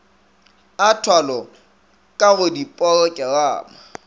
a thwalo ka go diporokerama